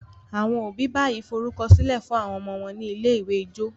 àwọn òbí bayii forukọsilẹ fún àwọn ọmọ wón ní ilé-ìwé ijó